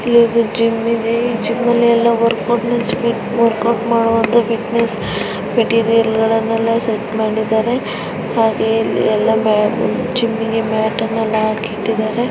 ಇಲ್ಲಿ ಜಿಮ್ ಇದೆ ಜಿಮಲ್ಲಿ ಎಲ್ಲಾ ವರ್ಕೌಟ್ ವರ್ಕೌಟ್ ಮಾಡುವಂತಹ ಫಿಟ್ನೆಸ್ ಮೆಟೀರಿಯಲ್ ಗಳನ್ನೆಲ್ಲಾ ಸೆಟ್ ಮಾಡಿದ್ದಾರೆ ಹಾಗೆಯೇ ಇಲ್ಲಿ ಎಲ್ಲಾ ಮ್ಯಾಟ್ ಜಿಮಿಗೆ ಮ್ಯಾಟ್ ನೆಲ್ಲಾ ಹಾಕಿದ್ದಾರೆ.